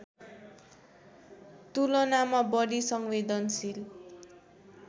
तुलनामा बढी संवेदनशील